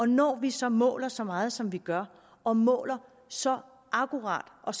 når vi så måler så meget som vi gør og måler så akkurat og